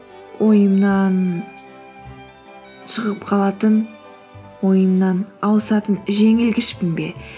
ойымнан шығып қалатын ойымнан ауысатын жеңілгішпін бе